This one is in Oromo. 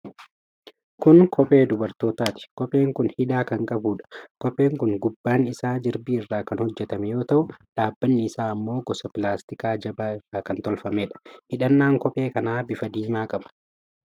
Kun kophee dubartootaati. Kopheen kun hidhaa kan qabudha. Kopheen kun gubbaan isaa jirbii irra kan hojjatame yoo ta'u, dhaabbanni isaa ammoo gosa pilaastikaa jabaa irraa kan tolfameedha. Hidhannaan kophee kanaa bifa diimaa qaba.